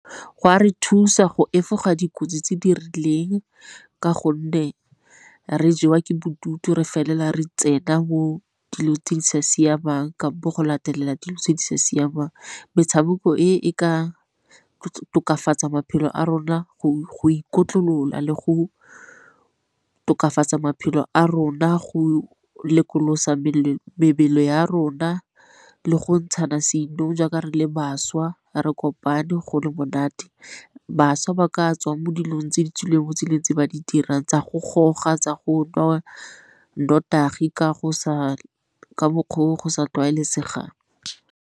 Go a re thusa go efoga dikotsi tse di rileng ka gonne re jewa ke bodutu re felela re tsena mo dilo tse di sa siamang ka bo go latelela dilo tse di sa siamang. Metshameko e e ka tokafatsaa maphelo a rona go ikotlolola le go tokafatsaa maphelo a rona go lekolosa mebele ya rona le go ntshana seinong jaaka re le bašwa, re kopane go le monate. Bašwa ba ka tswang mo dilong tse di tswileng mo tseleng tse ba di dirang tsa go goga tsa go nwa notagi ka mokgwa o go sa tlwaelesega.